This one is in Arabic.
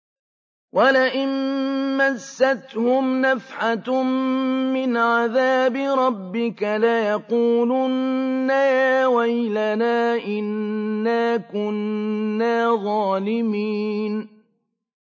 وَلَئِن مَّسَّتْهُمْ نَفْحَةٌ مِّنْ عَذَابِ رَبِّكَ لَيَقُولُنَّ يَا وَيْلَنَا إِنَّا كُنَّا ظَالِمِينَ